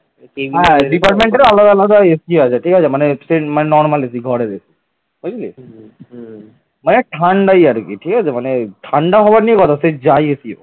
মানে ঠান্ডায় আর কি ঠিক আছে মানে ঠান্ডা হবার নিয়ে কথা সে যায় AC হোক